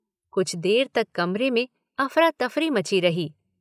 कुछ देर तक कमरे में अफरातफ़री मची रही।